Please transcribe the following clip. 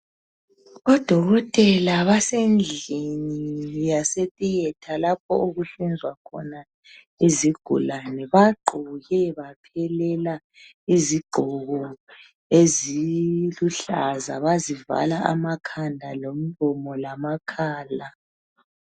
Odokotela basendlini yase Tiyetha lapho okuhlinzwa khona izigulane. Bagqoke baphelela izigqoko eziluhlaza, bazivala amakhanda lomlomo lamakhala.